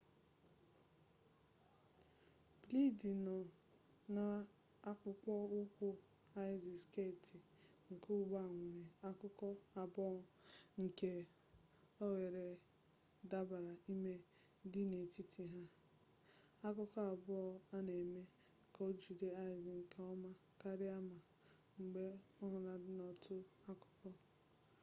bleedi nọ n'akpụkpọ ụkwụ aịz sketị nke ugbua nwere akụkụ abụọ nke oghere dabara ime dị n'etiti ha akụkụ abụọ a na-eme ka o jide aịz nke ọma karịa ma mgbe o hulatara n'otu akụkụ